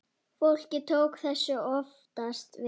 Fólkið tók þessu oftast vel.